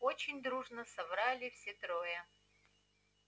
очень дружно соврали все трое